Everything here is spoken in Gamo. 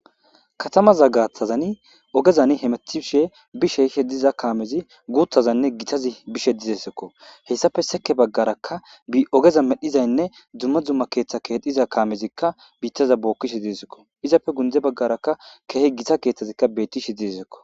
katamaza gaathazani ogezani hemethishe bishe ishe diza kaamezi guuthazanne gitazi bishe dizesekko heyssafe seke baggarakka ogeza medhizaynne dzumma dzumma keeththa keedhiza kaamezikka biittaza bookkishe disikko izappe gunde baggaraka keehi gita keeththazikka bettishi disekko